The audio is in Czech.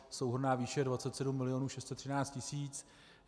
Souhrnná výše 27 milionů 613 tisíc.